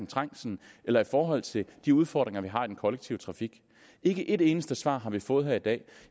trængslen eller i forhold til de udfordringer man har i den kollektive trafik ikke et eneste svar har vi fået her i dag i